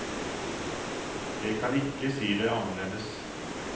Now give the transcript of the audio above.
Jeg kan ikke si det annerledes.